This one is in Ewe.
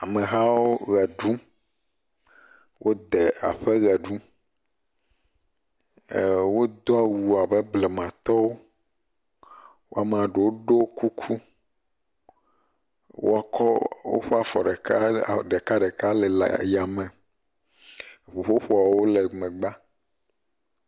Amehawo ʋe ɖum, wode aƒe ʋe ɖum, ee wodo awu abe blematɔwo, wo amea ɖewo ɖo kuku, wokɔ woƒe afɔ ɖekaɖeka le ya me, ŋuƒoƒoawo le megbea.